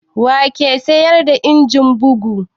Wa ke sayar da injin bugu?